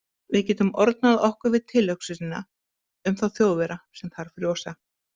Við getum ornað okkur við tilhugsunina um þá Þjóðverja sem þar frjósa